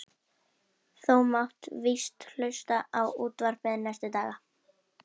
Þú mátt víst hluta á útvarpið næstu daga.